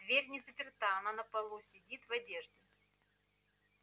дверь не заперта она на полу сидит в одежде